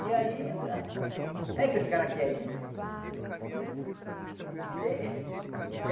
E aí, é o ãh é o que os caras querem. Eh